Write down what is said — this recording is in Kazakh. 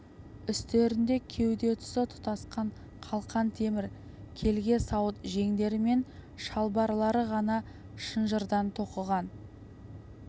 үстерінде кеуде тұсы тұтасқан қалқан темір келте сауыт жеңдері мен шалбарлары ғана шынжырдан тоқыған